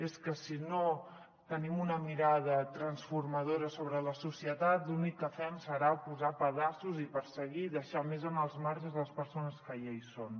és que si no tenim una mirada transformadora sobre la societat l’únic que fem serà posar pedaços i perseguir i deixar més en els marges les persones que ja hi són